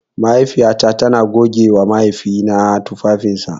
Mahaifiyata tana gogewa mahaifina tufafinsa.